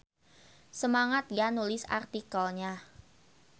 Semangat ya nulis artikelnya.